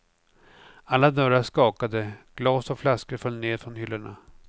Alla dörrar skakade, glas och flaskor föll ned från hyllorna.